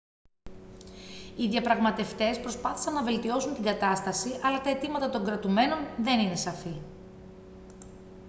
οι διαπραγματευτές προσπάθησαν να βελτιώσουν την κατάσταση αλλά τα αιτήματα των κρατουμένων δεν είναι σαφή